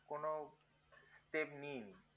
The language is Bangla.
কোনো step নিইনি